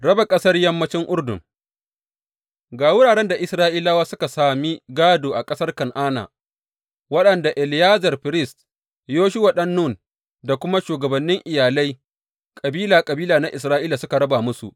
Raba ƙasar yammancin Urdun Ga wuraren da Isra’ilawa suka sami gādo a ƙasar Kan’ana waɗanda Eleyazar firist, Yoshuwa ɗan Nun da kuma shugabannin iyalai kabila kabila na Isra’ila suka raba musu.